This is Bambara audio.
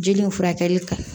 Jeli in furakɛli ka